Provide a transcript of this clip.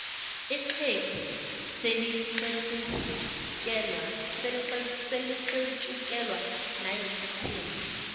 ixhegu selixetshukelwa nayisikhumba